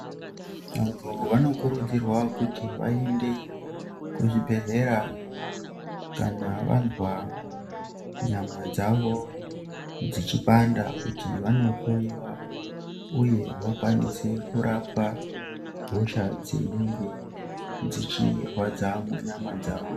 Vandu vanokurudzirwa kuti vaende kuzvibhedhlera kana vanzwa nyama dzavo dzichipanda kuti vanohloyiwa uye vakwanise kurapwa hosha dzinenge dzichirwadza munyama dzavo.